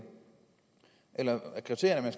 eller er kriterierne at